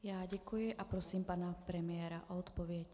Já děkuji a prosím pana premiéra o odpověď.